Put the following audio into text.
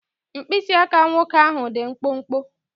Mkpịsị aka nwoke ahụ dị mkpụmkpụ.